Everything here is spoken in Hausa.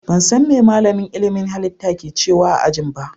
Ban san me malamin ilimin halitta ke cewa a ajin ba.